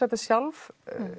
þetta sjálf